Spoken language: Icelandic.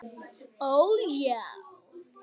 Ó, já.